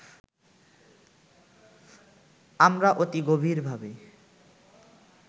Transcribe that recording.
আমরা অতি গভীর ভাবে